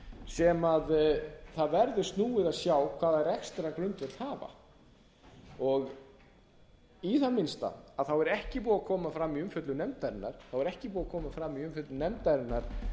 sem það verður snúið að sjá hvaða rekstrargrundvöll hafa í það minnsta er ekki búið að koma fram í umfjöllun nefndarinnar